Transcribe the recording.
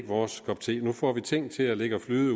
vores kop te nu får vi ting til at ligge og flyde